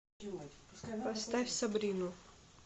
поставь сабрину